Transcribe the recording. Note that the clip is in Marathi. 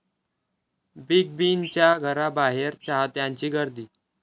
बिग बींच्या घराबाहेर चाहत्यांची गर्दी